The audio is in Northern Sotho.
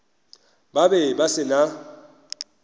ba be ba se na